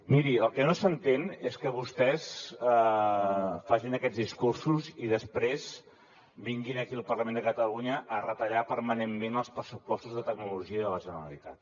miri el que no s’entén és que vostès facin aquests discursos i després vinguin aquí al parlament de catalunya a retallar permanentment els pressupostos de tecnologia de la generalitat